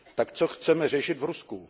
Tak co chceme řešit v Rusku?